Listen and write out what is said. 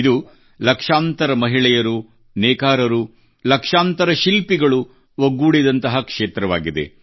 ಇದು ಲಕ್ಷಾಂತರ ಮಹಿಳೆಯರು ನೇಕಾರರು ಲಕ್ಷಾಂತರ ಶಿಲ್ಪಿಗಳು ಒಗ್ಗೂಡಿದಂತಹ ಕ್ಷೇತ್ರವಾಗಿದೆ